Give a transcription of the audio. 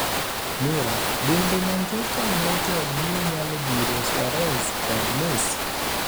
(Mirror) Bende Manchester United biro nyalo thiro Suarez kod Messi?